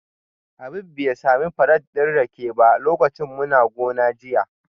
Habib bai sami farat din rake ba lokacin muna gona jiya